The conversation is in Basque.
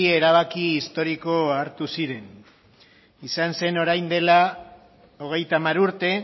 erabaki historiko hartu ziren izan zen orain dela hogeita hamar urte